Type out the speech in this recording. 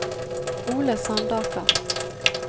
Ole Sandaker